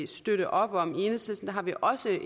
støtte op om i enhedslisten har vi også